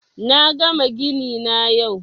Na gama gini na yau